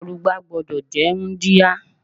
Arugbá gbúdọ̀ jẹ́ wúńdíá.